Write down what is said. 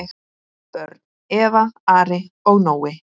Börn: Eva, Ari og Nói.